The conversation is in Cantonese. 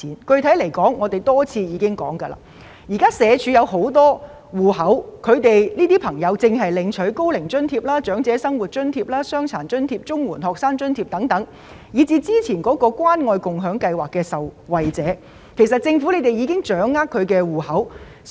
具體而言，我們已多次指出，社署擁有很多戶口，因為有些市民可能正在領取高齡津貼、長者生活津貼、傷殘津貼或綜援學生津貼等，甚至可能是早前關愛共享計劃的受惠者，所以政府已經掌握他們的戶口資料。